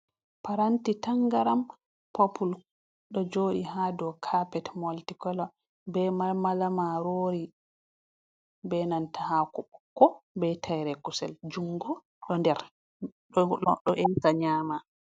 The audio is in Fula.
Paranti tangaram popul. Ɗo joɗi ha ɗow kapet molti kola. Ɓe malmala marori. Ɓe nanta hako ɓokko. Ɓe taire kusel. jungo ɗo ɗer, ɗo enta nyama.